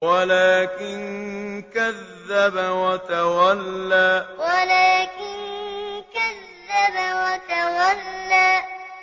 وَلَٰكِن كَذَّبَ وَتَوَلَّىٰ وَلَٰكِن كَذَّبَ وَتَوَلَّىٰ